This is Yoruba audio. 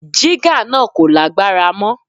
Jígà náà kò lágbára mọ́.